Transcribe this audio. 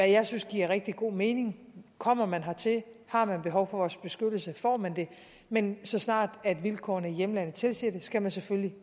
jeg synes giver rigtig god mening kommer man hertil og har man behov for vores beskyttelse får man den men så snart vilkårene i hjemlandet tilsiger det skal man selvfølgelig